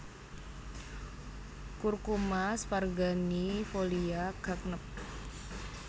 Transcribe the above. Curcuma sparganiifolia Gagnep